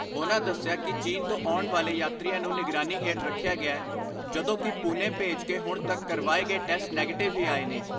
ਉਨ੍ਹਾਂ ਦਸਿਆ ਕਿ ਚੀਨ ਤੋਂ ਆਉਣ ਵਾਲੇ ਯਾਤਰੀਆਂ ਨੂੰ ਨਿਗਰਾਨੀ ਹੇਠ ਰੱਖਿਆ ਗਿਐ ਜਦੋਂਕਿ ਪੂਨੇ ਭੇਜ ਕੇ ਹੁਣ ਤੱਕ ਕਰਵਾਏ ਗਏ ਟੈਸਟ ਨੈਗੇਟਿਵ ਹੀ ਆਏ ਨੇ।